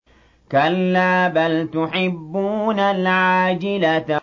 كَلَّا بَلْ تُحِبُّونَ الْعَاجِلَةَ